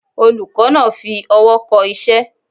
Olùkó náa fi owó ko isé